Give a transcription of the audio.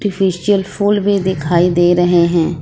Facial फूल भी दिखाई दे रहे हैं।